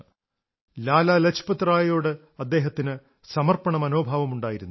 ലാലാ ലജ്പത്റായിയോട് അദ്ദേഹത്തിന് സമർപ്പണമനോഭാവമുണ്ടായിരുന്നു